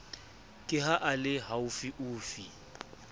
ke ha a le haufiufi